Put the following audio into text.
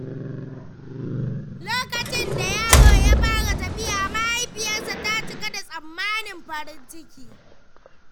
Lokacin da yaro ya fara tafiya, mahaifiyarsa ta cika da tsananin farin ciki.